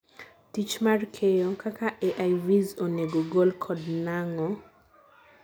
tich mar keyo: kaka AIVs onego gol kod nang'o